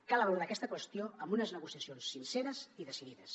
cal abordar aquesta qüestió amb unes negociacions sinceres i decidides